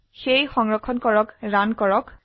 তাই সংৰক্ষণ কৰে ৰান কৰুন